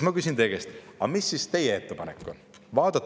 Ma küsin teie käest: aga mis siis teie ettepanek on?